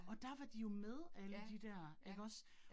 Og der var de jo med alle de dér ikke også